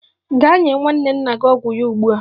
Gaa nye nwanne nna ọgwụ ya ugbu a!